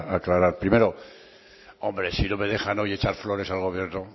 aclarar primero hombre si no me dejan hoy echar flores al gobierno